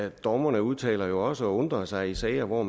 og dommerne udtaler jo også undrer sig i sager hvor